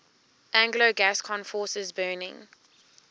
anglo gascon forces burning